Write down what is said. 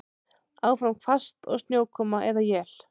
Áfram hvasst og snjókoma eða él